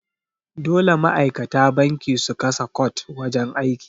Dole ma'aikata banki su kasa cot a wajan aiki.